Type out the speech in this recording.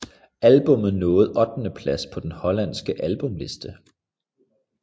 Albumet nåede ottendeplads på den hollandske albumliste